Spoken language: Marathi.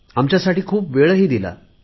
आमच्यासाठी खूप वेळ दिला